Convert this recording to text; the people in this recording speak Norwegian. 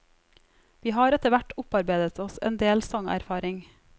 Vi har etterhvert opparbeidet oss en del sangerfaring.